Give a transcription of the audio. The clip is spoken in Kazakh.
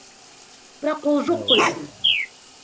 бірақ ол жоқ қой бүгін